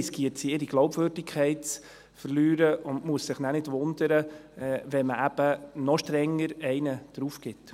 Sie darf sich nicht wundern, wenn wir dann noch strenger werden und zulegen.